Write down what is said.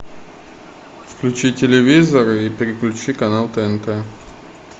включи телевизор и переключи канал тнт